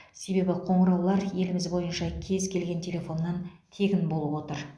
себебі қоңыраулар еліміз бойынша кез келген телефоннан тегін болып отыр